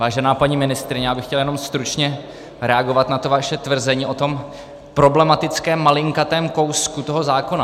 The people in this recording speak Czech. Vážená paní ministryně, já bych chtěl jenom stručně reagovat na to vaše tvrzení o tom problematickém malinkatém kousku toho zákona.